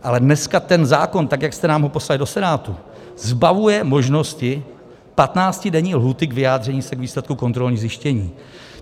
Ale dneska ten zákon, tak jak jste nám ho poslali do Senátu, zbavuje možnosti patnáctidenní lhůty k vyjádření se k výsledku kontrolních zjištění.